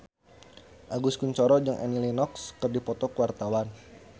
Agus Kuncoro jeung Annie Lenox keur dipoto ku wartawan